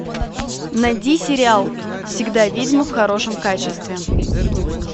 найди сериал всегда ведьма в хорошем качестве